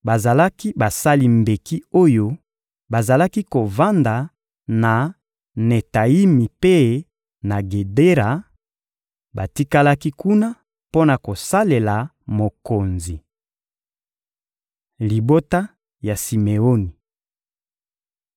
Bazalaki basali mbeki oyo bazalaki kovanda na Netayimi mpe na Gedera; batikalaki kuna mpo na kosalela mokonzi. Libota ya Simeoni (Ebl 46.10; Mit 26.12-13)